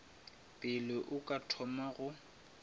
pele o ka thoma go